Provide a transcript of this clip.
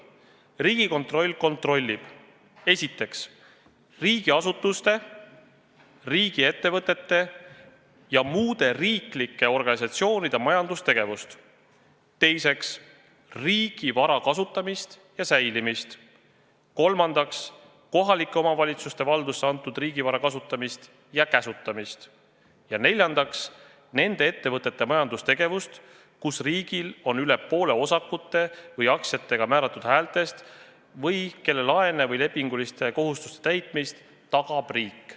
Riigikontroll kontrollib esiteks riigiasutuste, riigiettevõtete ja muude riiklike organisatsioonide majandustegevust; teiseks, riigi vara kasutamist ja säilimist; kolmandaks, kohalike omavalitsuste valdusse antud riigivara kasutamist ja käsutamist ja neljandaks, nende ettevõtete majandustegevust, kus riigil on üle poole osakute või aktsiatega määratud häältest või kelle laene või lepinguliste kohustuste täitmist tagab riik.